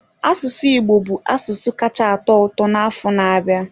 Asụsụ Igbo ga-abụ asụsụ kacha atọ ụtọ n'afọ na-abịa.